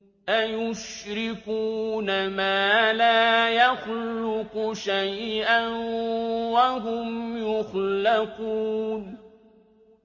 أَيُشْرِكُونَ مَا لَا يَخْلُقُ شَيْئًا وَهُمْ يُخْلَقُونَ